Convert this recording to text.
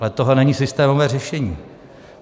Ale tohle není systémové řešení.